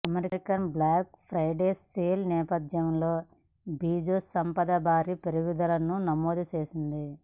Amazon black Friday sale నేపథ్యంలో Bezos సంపద భారీ పెరుగుదలను నమోదు చేసింది